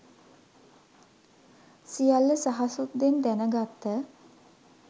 සියල්ල සහසුද්දෙන් දැනගත්ත